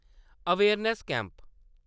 awareness camp